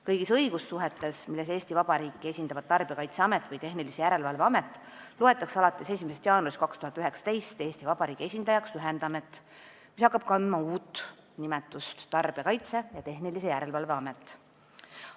Kõigis õigussuhetes, milles Eesti Vabariiki esindavad Tarbijakaitseamet või Tehnilise Järelevalve Amet, loetakse alates 1. jaanuarist 2019 Eesti Vabariigi esindajaks ühendamet, mis hakkab kandma nimetust Tarbijakaitse ja Tehnilise Järelevalve Amet.